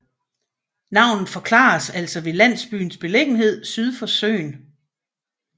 Navnet forklares altså ved landsbyens beliggenhed syd for søen